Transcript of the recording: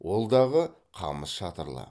ол дағы қамыс шатырлы